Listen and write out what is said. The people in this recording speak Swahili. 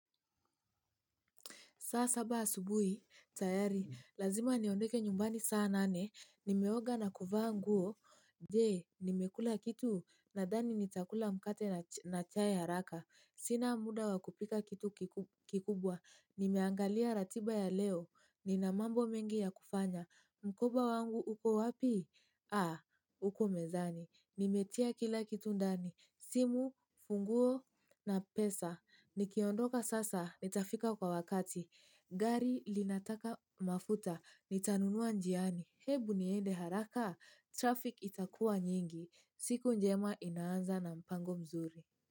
Saa saba asubuhi, tayari, lazima niondeke nyumbani saa nane. Nimeoga na kuvaa nguo. Jee, nimekula kitu nadhani nitakula mkate na chai haraka. Sina muda wa kupika kitu kikubwa. Nimeangalia ratiba ya leo. Nina mambo mengi ya kufanya. Mkoba wangu upo wapi? Ah, uko mezani. Nimetia kila kitu ndani. Simu, funguo na pesa. Nikiondoka sasa, nitafika kwa wakati. Gari linataka mafuta, nitanunua njiani, hebu niende haraka, traffic itakua nyingi, siku njema inaanza na mpango mzuri.